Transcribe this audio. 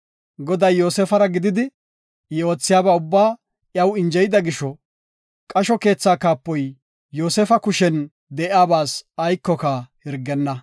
Goday Yoosefara gididi, I oothiyaba ubbaa iyaw injeyida gisho, qasho keethaa kaapoy Yoosefa kushen de7iyabas aykoka hirgenna.